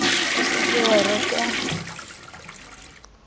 o se ke wa reka